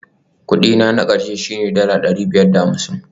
Kudi na na ƙarshe shine dala ɗari biyar da hamsin